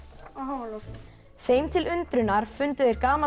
á háaloft þeim til undrunar fundu þeir gamalt